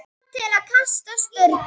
kom til kasta Sturlu.